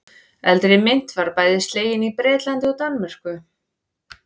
Eldri mynt var bæði slegin í Bretlandi og Danmörku.